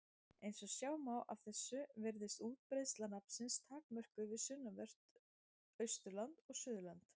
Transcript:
Eins og sjá má af þessu virðist útbreiðsla nafnsins takmörkuð við sunnanvert Austurland og Suðurland.